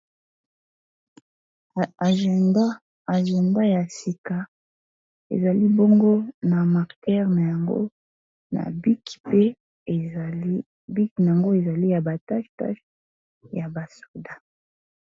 Agenda, agenda ya sika ezali bongo na marker na yango na bic mpe ezali bic nango ezali ya ba tâche tâche ya ba soda.